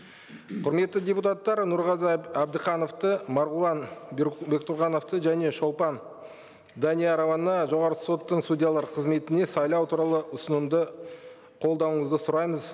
құрметті депутаттар нұрғазы әбдіхановты марғұлан бектұрғановты және шолпан даниярованы жоғарғы соттың судьялары қызметіне сайлау туралы ұсынымды қолдауыңызды сұраймыз